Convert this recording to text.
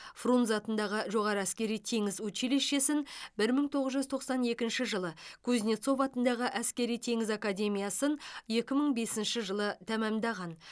фрунзе атындағы жоғары әскери теңіз училищесін бір мың тоғыз жүз тоқсан екінші жылы кузнецов атындағы әскери теңіз академиясын екі мың бесінші жылы тәмамдаған